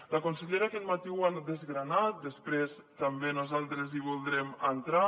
la consellera aquest matí ho ha desgranat després també nosaltres hi voldrem entrar